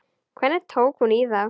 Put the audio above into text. Hvernig tók hún í það?